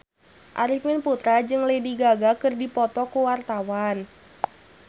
Arifin Putra jeung Lady Gaga keur dipoto ku wartawan